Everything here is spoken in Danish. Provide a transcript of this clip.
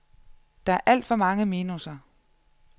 Der er alt for mange minusser.